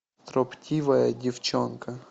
строптивая девчонка